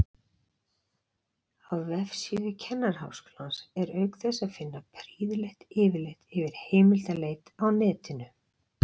Á vefsíðu Kennaraháskólans er auk þess að finna prýðilegt yfirlit yfir heimildaleit á netinu.